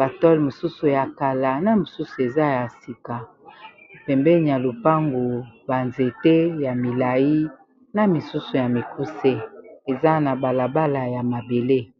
batole mosusu ya kala na mosusu eza ya sika , pembeni ya lopango , banzete ya milai na misusu ya mikuse eza na balabala ya mabele